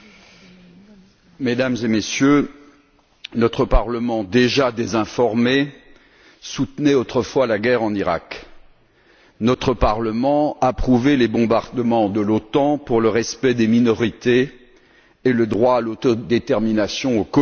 Madame la Présidente, Mesdames et Messieurs, notre Parlement déjà désinformé a soutenu autrefois la guerre en Iraq. Notre Parlement a approuvé les bombardements de l'OTAN pour le respect des minorités et le droit à l'autodétermination au Kosovo.